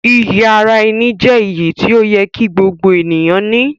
Iyì ara-ẹni jẹ́ iyì tí ó yẹ kí gbogbo ènìyàn ní.